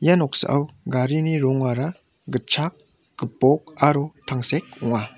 ia noksao garini rongara gitchak gipok aro tangsek ong·a.